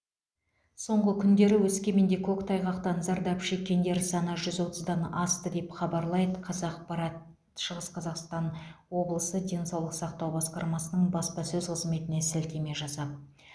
соңғы күндері өскеменде көктайғақтан зардап шеккендер саны жүз отыздан асты деп хабарлайды қазақпарат шығыс қазақстан облысы денсаулық сақтау басқармасының баспасөз қызметіне сілтеме жасап